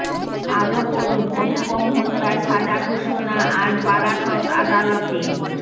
আরও পড়ুন অনুপম হত্যার সাজা ঘোষণা আজ বারাসত আদালতে